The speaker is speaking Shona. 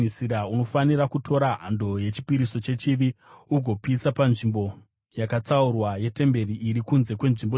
Unofanira kutora hando yechipiriso chechivi ugopisa panzvimbo yakatsaurwa yetemberi iri kunze kwenzvimbo tsvene.